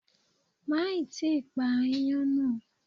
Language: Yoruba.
Má ì tí pa ááyán nà.